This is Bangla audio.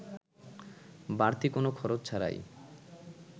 বাড়তি কোনো খরচ ছাড়াই